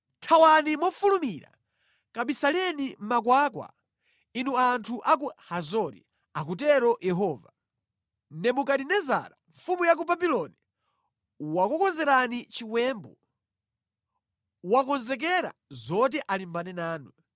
“Thawani mofulumira! Kabisaleni mʼmakhwawa, inu anthu ku Hazori,” akutero Yehova. “Nebukadinezara mfumu ya ku Babuloni wakukonzerani chiwembu; wakonzekera zoti alimbane nanu.